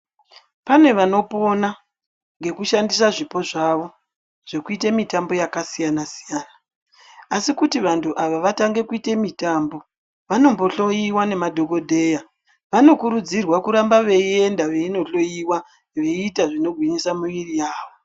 Pane vanopona nekushandisa zvipo zvavo zvekuita mitambo yakasiyana siyana asi kuti vantu ava vakwanise kuita mitambo vanombohloyiwa nemadhokodheya vanokurudzirwa kuti varambe veienda veinohloyiwa veita zvinogwinyisa miri yavo .